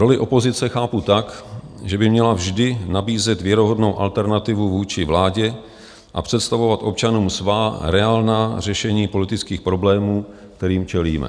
Roli opozice chápu tak, že by měla vždy nabízet věrohodnou alternativu vůči vládě a představovat občanům svá reálná řešení politických problémů, kterým čelíme.